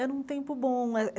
Era um tempo bom.